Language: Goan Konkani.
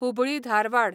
हुबळी धारवाड